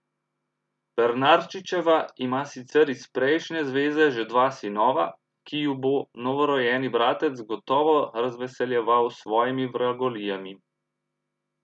Pernarčičeva ima sicer iz prejšnje zveze že dva sinova, ki ju bo novorojeni bratec gotovo razveseljeval s svojimi vragolijami.